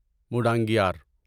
مڈنگیار